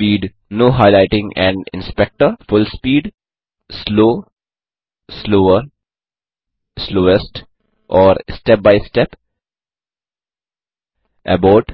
full speed full speed slow slower slowest और step by step abort